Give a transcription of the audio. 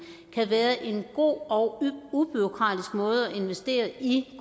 kan være en god og ubureaukratisk måde at investere i